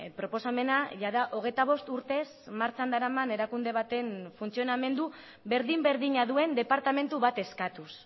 proposamena jada hogeita bost urtez martxan daraman erakunde baten funtzionamendu berdin berdina duen departamentu bat eskatuz